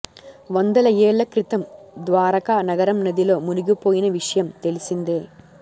వందల ఏళ్ల క్రితం ద్వారకా నగరం నదిలో మునిగిపోయిన విషయం తెలిసిందే